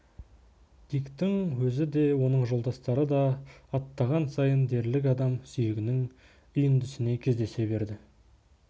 диктің өзі де оның жолдастары да аттаған сайын дерлік адам сүйегінің үйіндісіне кездесе берді